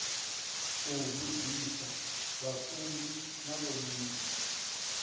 u vhudzisa vhafunzi na vhomme